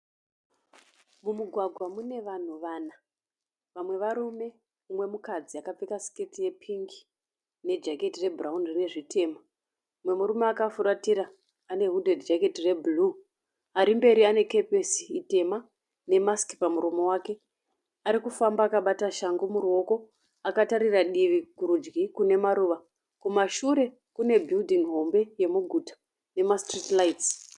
Mumugwagwa mune vanhu vana. Vamwe murume umwe mukadzi akapfeka siketi yepingi nejaketi rebhurawuni rine zvitema. Mumwe murume akafuratira ane wudhedhi jaketi rebhuruu. Ari mberi ane kepesi itema nemasiki pamuromo wake. Ari kufamba akabata shangu muruoko. Akatarira divi kurudyi kune maruva. Kumashure kune bhiridhingi hombe yemuguta nemasitiriti raitsi.